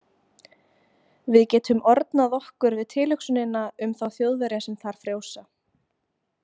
Við getum ornað okkur við tilhugsunina um þá Þjóðverja sem þar frjósa